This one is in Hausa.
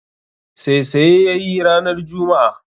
Saisaye ya yi ranar juma'a